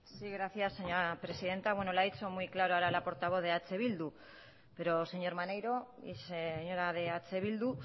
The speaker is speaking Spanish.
sí gracias señora presidenta bueno lo ha dicho muy claro ahora la portavoz de eh bildu pero señor maneiro y señora de eh bildu